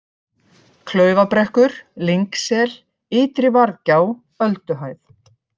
Klaufabrekkur, Lyngsel, Ytri-Varðgjá, Ölduhæð